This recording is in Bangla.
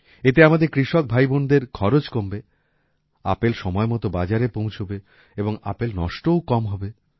এতে আমাদের কৃষক ভাইবোনদের খরচ কমবে আপেল সময়মতো বাজারে পৌঁছাবে এবং আপেল নষ্টও কম হবে